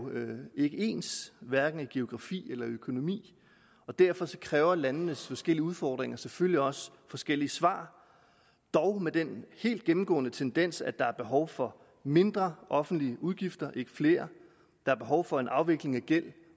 ikke ens hverken i geografi eller økonomi og derfor kræver landenes forskellige udfordringer selvfølgelig også forskellige svar dog med den helt gennemgående tendens at der er behov for mindre offentlige udgifter ikke flere der er behov for en afvikling af gæld